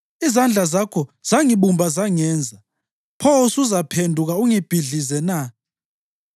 Izandla zakho zangibumba zangenza. Pho usuzaphenduka ungibhidlize na?